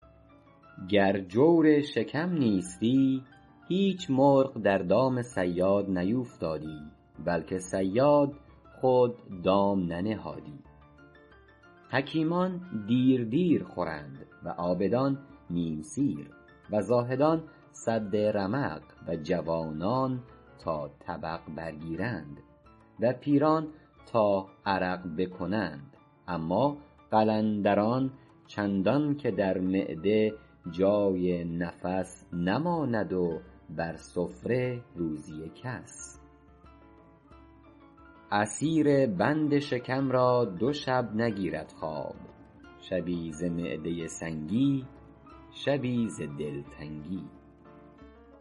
گر جور شکم نیستی هیچ مرغ در دام صیاد نیوفتادی بلکه صیاد خود دام ننهادی حکیمان دیر دیر خورند و عابدان نیم سیر و زاهدان سد رمق و جوانان تا طبق برگیرند و پیران تا عرق بکنند اما قلندران چندان که در معده جای نفس نماند و بر سفره روزی کس اسیر بند شکم را دو شب نگیرد خواب شبی ز معده سنگی شبی ز دلتنگی